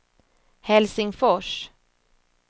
Helsingfors